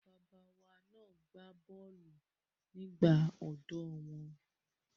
Àwọn bàbá wa na gbá bọ́ọ̀lù nígbà ọ̀dọ́ wọn.